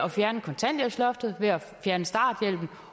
at fjerne kontanthjælpsloftet ved at fjerne starthjælpen